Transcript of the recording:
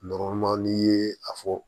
n'i ye a fɔ